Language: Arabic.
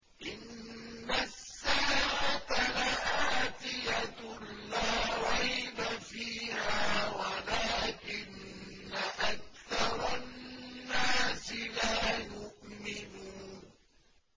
إِنَّ السَّاعَةَ لَآتِيَةٌ لَّا رَيْبَ فِيهَا وَلَٰكِنَّ أَكْثَرَ النَّاسِ لَا يُؤْمِنُونَ